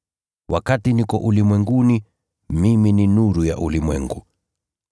Wakati niko ulimwenguni, mimi ni nuru ya ulimwengu.”